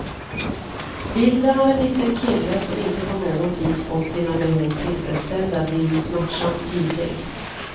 Bilden av en liten kille som inte på något vis fått sina behov tillfredsställda blir ju smärtsamt tydlig.